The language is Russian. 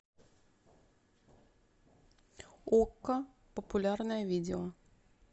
окко популярное видео